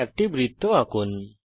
একটি বৃত্ত আঁকুন